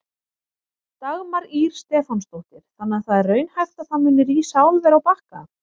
Dagmar Ýr Stefánsdóttir: Þannig að það er raunhæft að það muni rísa álver á Bakka?